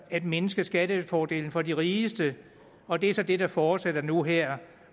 at mindske skattefordelen for de rigeste og det er så det der fortsætter nu her